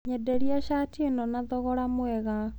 Nyenderia cati ĩno na thogora mwega.